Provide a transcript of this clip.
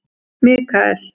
Mikael